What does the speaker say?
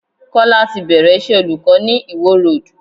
Kọ́lá ti bẹ̀rẹ̀ iṣẹ́ olùkọ́ ni Ìwó Road.